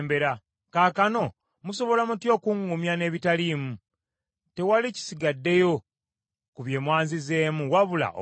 “Kaakano musobola mutya okuŋŋumya n’ebitaliimu? Tewali kisigaddeyo ku bye mwanzizeemu wabula obulimba!”